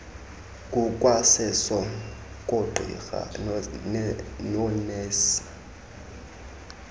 kukwaseso koogqirha noonesi